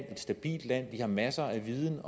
er et stabilt land vi har masser af viden